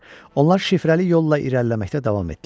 Onlar şifrəli yolla irəliləməkdə davam etdilər.